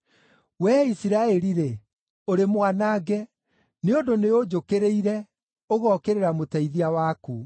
“Wee Isiraeli-rĩ, ũrĩ mwanange, nĩ ũndũ nĩũnjũkĩrĩire, ũgookĩrĩra mũteithia waku.